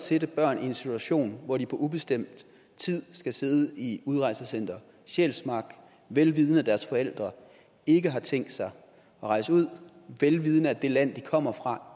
sætte børn i en situation hvor de på ubestemt tid skal sidde i udrejsecenter sjælsmark vel vidende at deres forældre ikke har tænkt sig at rejse ud vel vidende at det land de kommer fra